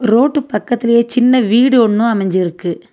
Road பக்கத்திலயே சின்ன வீடு ஒன்னு அமஞ்சிருக்கு.